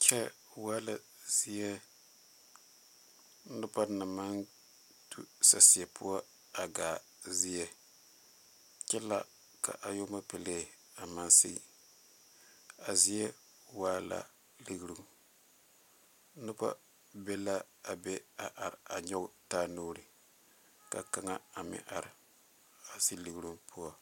Kyɛ waa la zie noba naŋ maŋ tu saseɛ poɔ a gaa zie kyɛ la ka ayuapelee a maŋ sige a zie waa la ligeruŋ noba be la a be a nyɔge taa nuuri ka kaŋa a meŋ are a zi ligeruŋ poɔ.